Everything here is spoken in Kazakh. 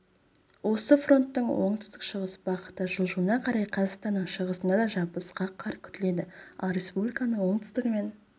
осы фронттың оңтүстік-шығыс бағытта жылжуына қарай қазақстанның шығысында да жабысқақ қар күтіледі ал республиканың оңтүстігі мен